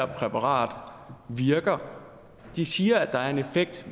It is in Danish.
præparatet virker de siger at der er en effekt